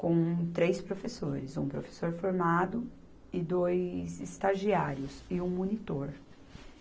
com três professores, um professor formado e dois estagiários e um monitor.